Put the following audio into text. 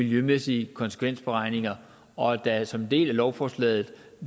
miljømæssige konsekvensberegninger og at der som en del af lovforslaget